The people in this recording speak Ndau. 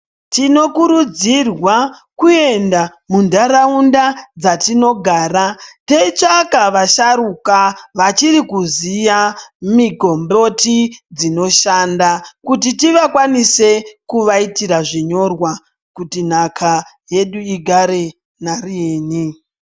Tinokurudzirwa kuenda mundaraunda dzatinogara teitsvaka vasharuka vachiri kuxiya migomboti dzinoshanda. Kuti tivakwanise kuvaitira zvinyorwa kuti nhaka yedu igare nariini.